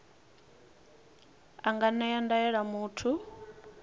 a nga ṅea ndaela muthu